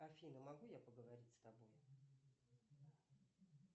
афина могу я поговорить с тобой